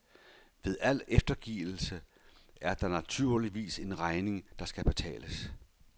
Ved al eftergivelse er der naturligvis en regning, der skal betales.